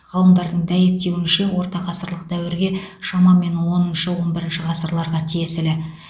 ғалымдардың дәйектеуінше ортағасырлық дәуірге шамамен оныншы он бірінші ғасырларға тиесілі